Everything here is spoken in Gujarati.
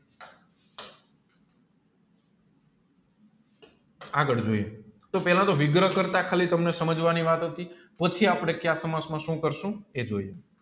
આગળ જોઇયે તોહ પેલા તોહ વિગ્રહ કાર્ટ તોહ તને સામ વાણી વાત નથી પછી આપણે શુ કરીશુ એ જોઈએ